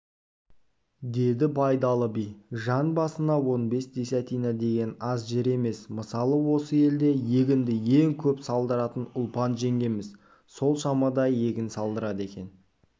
деді байдалы би жан басына онбес десятина деген аз жер емес мысалы осы елде егінді ең көп салдыратын ұлпан жеңгеміз сол шамада егін салдырады екен